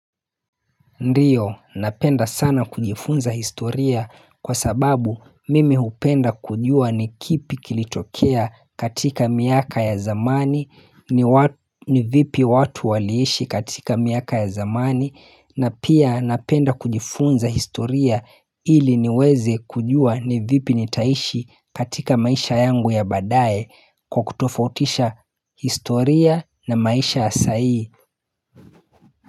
Ndio napenda sana kujifunza historia kwa sababu mimi hupenda kujua ni kipi kilicho tokea katika miaka ya zamani ni vipi watu waliishi katika miaka ya zamani na pia napenda kujifunza historia ili niweze kujua ni vipi nitaishi katika maisha yangu ya badaye kwa kutofautisha historia na maisha ya sahii.